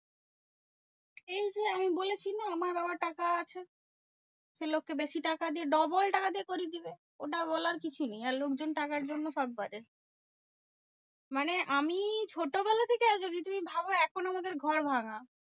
এই যে আমি বলেছি না? আমার বাবার টাকা আছে। সে লোককে বেশি টাকা দিয়ে double টাকা দিয়ে করিয়ে দেবে। ওটা বলার কিছু নেই। আর লোকজন টাকার জন্য সব পারে। মানে আমি ছোটবেলা থেকে আর যদি তুমি ভাবো এখনও আমাদের ঘর ভাঙ্গা।